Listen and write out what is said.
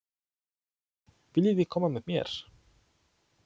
Viljiði koma með mér?